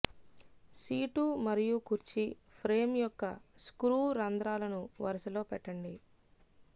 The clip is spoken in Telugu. సీటు మరియు కుర్చీ ఫ్రేమ్ యొక్క స్క్రూ రంధ్రాలను వరుసలో పెట్టండి